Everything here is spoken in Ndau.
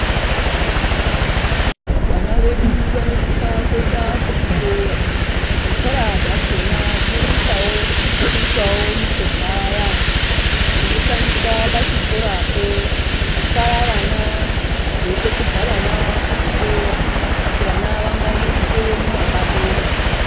Vana vedu vanosisa kuenda ku zvikora zvikora zvakona zvino sisawo kuitawo michovha yazvo ino shandiswa pa chikorapo kutwara vana zvei petudza vana ku zvikora kuti vana va ngwaririke mu mapato mwo.